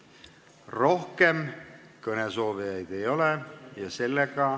Rohkem kõnesoovijaid ei ole.